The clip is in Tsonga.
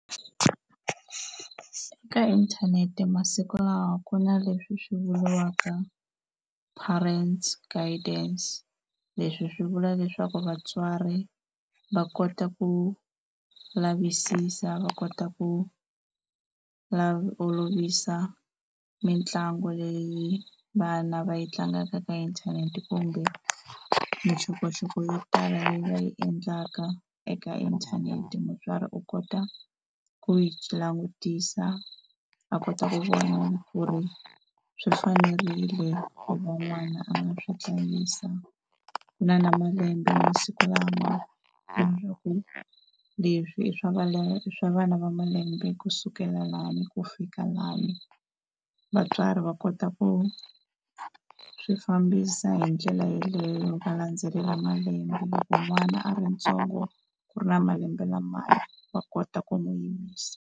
Ka inthanete masiku lawa ku na leswi swi vuriwaka parent guidance, leswi swi vula leswaku vatswari va kota ku lavisisa va kota ku olovisa mitlangu leyi vana va yi tlangaka ka inthanete kumbe mixokoxoko yo tala leyi va yi endlaka eka inthanete, mutswari u kota ku yi langutisa a kota ku vona ku ri swi fanerile ku va n'wana a nga swi hlayisa ku na na malembe masiku lama leswaku leswi i swa malembe swa vana va malembe ku sukela lani ku fika lani vatswari va kota ku swi fambisa hi ndlela yaleyo va landzelela malembe loko n'wana a rintsongo ku ri na malembe lamaya va kota ku n'wi yimisa.